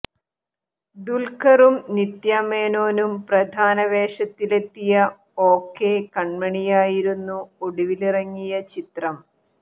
ദുല്ഖറും നിത്യാമേനോനും പ്രധാന വേഷത്തിലെത്തിയ ഓകെ കണ്മണിയായിരുന്നു ഒടുവിലിറങ്ങിയ ചിത്രം